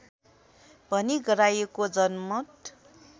भनी गराइएको जनमत